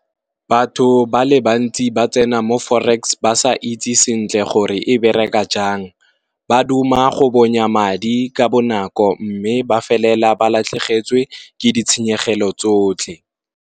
Batho ba le bantsi ba tsena mo forex ba sa itse sentle gore e bereka jang, ba duma go bonya madi ka bonako mme ba feleletsa ba latlhegetswe ke di tshenyegelo tsotlhe.